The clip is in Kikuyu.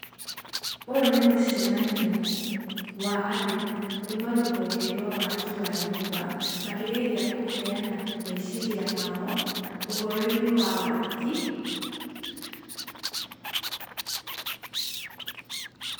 ũũ nĩ mũcemanio wa andũ kuma rũhonge rwa waki wa nyũmba , makĩgeria kũheana meciria mao ũhoro-inĩ wa waki.